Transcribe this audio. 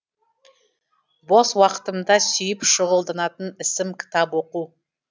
бос уақытымда сүйіп шұғылданатын ісім кітап оқу